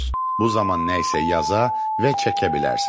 Bu zaman nə isə yaza və çəkə bilərsiniz.